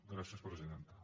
gràcies presidenta